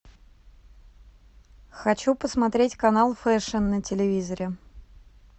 хочу посмотреть канал фешн на телевизоре